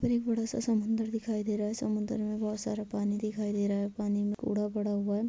यहॉं पर एक बड़ा-सा समुन्दर दिखाई दे रहा है समुन्दर में बहुत सारा पानी दिखाई दे रहा है पानी में कूड़ा पड़ा हुआ हैं।